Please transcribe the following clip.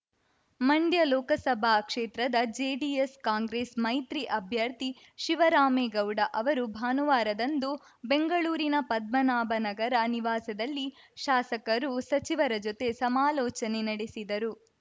ಮಂಡ್ಯ ಲೋಕಸಭಾ ಕ್ಷೇತ್ರದ ಜೆಡಿಎಸ್‌ಕಾಂಗ್ರೆಸ್‌ ಮೈತ್ರಿ ಅಭ್ಯರ್ಥಿ ಶಿವರಾಮೇಗೌಡ ಅವರು ಭಾನುವಾರದಂದು ಬೆಂಗಳೂರಿನ ಪದ್ಮನಾಭನಾಗರ ನಿವಾಸದಲ್ಲಿ ಶಾಸಕರು ಸಚಿವರ ಜೊತೆ ಸಮಾಲೋಚನೆ ನಡೆಸಿದರು